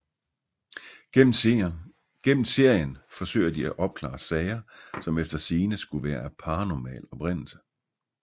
Gennem serien forsøger de at opklare sager som efter sigende skulle være af paranormal oprindelse